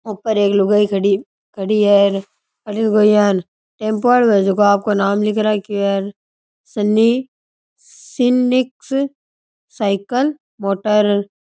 ऊपर एक लुगाई खड़ी खड़ी है और अठीन कोई यान टेम्पो आलो है जको आपको नाम लिख रखयो है सन्नी सिनिक्स सायकल मोटर ।